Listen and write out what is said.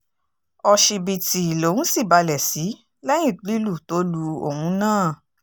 òṣìbìtì lòún sì balẹ̀ sí lẹ́yìn lílù tó lu òun náà